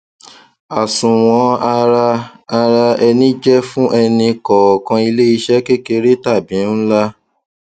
àsunwon ara ara ẹni jẹ fún ẹni kọọkan iléiṣẹ kékeré tàbí ńlá